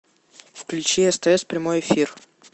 включи стс прямой эфир